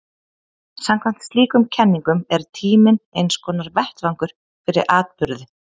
Samkvæmt slíkum kenningum er tíminn einskonar vettvangur fyrir atburði.